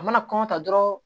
A mana kɔngɔ ta dɔrɔn